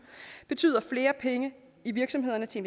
betyder flere penge i virksomhederne til